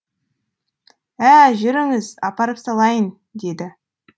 ә жүріңіз апарып салайын деді